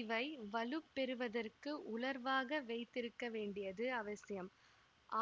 இவை வலுப் பெறுவதற்கு உலர்வாக வைத்திருக்கவேண்டியது அவசியம்